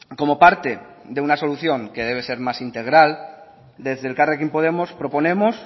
como parte de una solución que debe ser más integral desde elkarrekin podemos proponemos